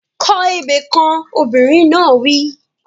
Kọ ebè kan! Obìnrin náà wí.